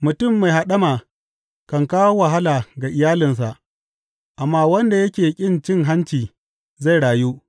Mutum mai haɗama kan kawo wahala ga iyalinsa, amma wanda yake ƙin cin hanci zai rayu.